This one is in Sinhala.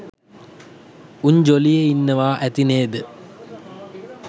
උන් ජොලියේ ඉන්නවා ඇති නේද.